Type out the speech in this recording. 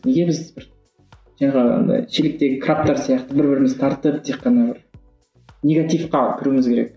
неге біз бір жаңағы андай шелектегі крабтар сияқты бір бірімізді тартып тек қана негативке кіруіміз керек